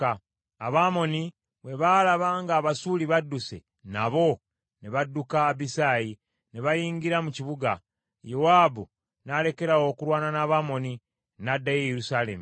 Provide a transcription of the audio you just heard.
Abamoni bwe baalaba nga Abasuuli badduse, nabo ne badduka Abisaayi, ne bayingira mu kibuga. Yowaabu n’alekeraawo okulwana n’Abamoni, n’addayo e Yerusaalemi.